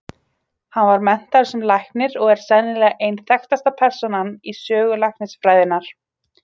Hann var menntaður sem læknir og er sennilega ein þekktasta persónan í sögu læknisfræðinnar.